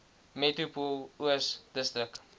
metropool oos distrik